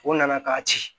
O nana k'a ci